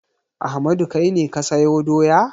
Ahmadu kai ne ka sayo doya?